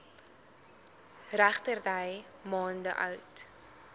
regterdy maande oud